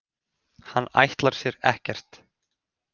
Hann ætlar sér ekkert.